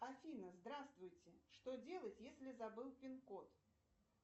афина здравствуйте что делать если забыл пин код